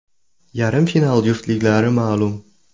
Yarim final juftliklari ma’lum.